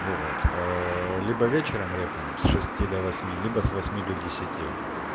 ну вот либо вечером репаем с шести до восьми либо с восьми до десяти